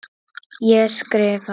Ég skrifa.